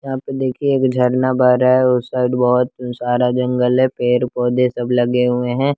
यहां पे देखिए एक झरना बह रहा है उस साइड बहोत सारा जंगल है पेड़ पौधे सब लगे हुए हैं।